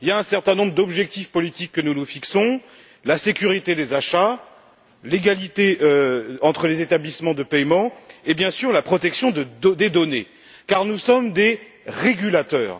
Il y a un certain nombre d'objectifs politiques que nous nous fixons la sécurité des achats, l'égalité entre les établissements de paiement et, bien sûr, la protection des données, car nous sommes des régulateurs.